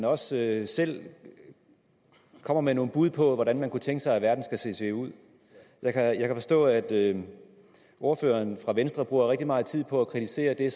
også selv kommer med nogle bud på hvordan man kunne tænke sig at verden skulle se ud jeg kan forstå at ordføreren for venstre bruger rigtig meget tid på at kritisere det